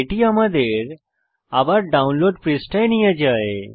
এটি আমাদের আবার ডাউনলোড পৃষ্ঠায় নিয়ে যায়